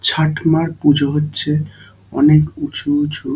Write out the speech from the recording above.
ছাটমার পুজো হচ্ছে অনেক উঁচু উঁচু--